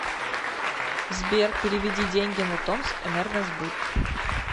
сбер переведи деньги на томск энергосбыт